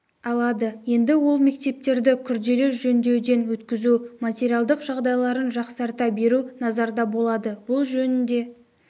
алады енді ол мектептерді күрделі жөндеуден өткізу материалдық жағдайларын жақсарта беру назарда болады бұл жөнінде